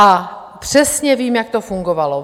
A přesně vím, jak to fungovalo.